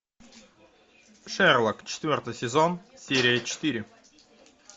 шерлок четвертый сезон серия четыре